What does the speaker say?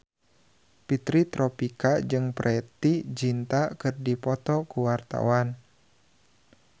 Fitri Tropika jeung Preity Zinta keur dipoto ku wartawan